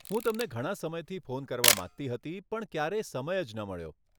હું તમને ઘણાં સમયથી ફોન કરવા માંગતી હતી પણ ક્યારેય સમય જ ન મળ્યો.